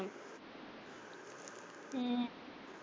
ਹਮ